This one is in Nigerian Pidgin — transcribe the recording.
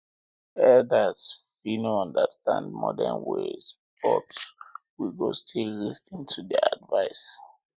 elders fit no understand modern ways but we go still lis ten to their advice